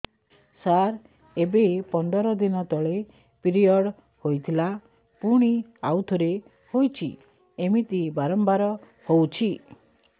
ସାର ଏବେ ପନ୍ଦର ଦିନ ତଳେ ପିରିଅଡ଼ ହୋଇଥିଲା ପୁଣି ଆଉଥରେ ହୋଇଛି ଏମିତି ବାରମ୍ବାର ହଉଛି